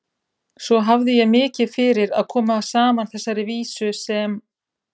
Svo hafði ég mikið fyrir að koma saman þessari vísu sem